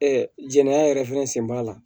jɛnɛya yɛrɛ fɛnɛ sen b'a la